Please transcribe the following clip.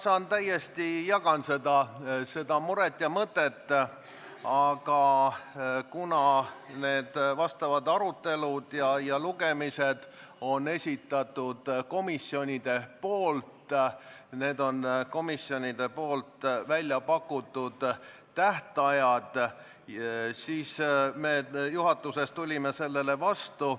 Ma täiesti jagan seda muret ja mõtet, aga kuna need arutelud ja lugemised on komisjonide esitatud, need on komisjonide väljapakutud tähtajad, siis me juhatuses tulime sellele vastu.